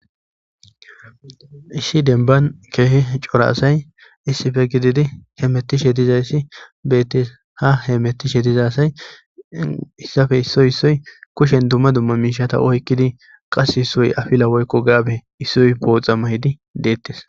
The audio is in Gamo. isshi denban keehi cora asay issife gididi hemettishe dizayssi beettes ha heemettishe dizay asay issafe issoy issoy kushen dumma dumma miishata oykkidi qase issoy afila woykko gaabe issoy booxa mayidi deettes